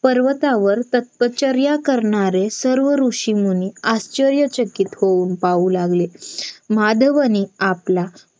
पर्वतावर तपश्चर्या करणारे सर्व ऋषीमुनी आश्चर्यचकित होऊन पाहू लागले माधवने आपला